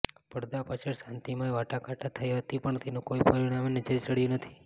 પડદા પાછળ શાંતિમય વાટાઘાટો થઈ હતી પણ તેનું કોઈ પરિણામ નજરે ચડ્યું નથી